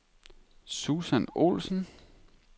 Susan Olsson